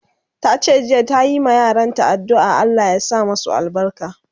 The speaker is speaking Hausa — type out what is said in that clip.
Tace jiya ta yi ma yaran ta adduan Allah ya masu albarka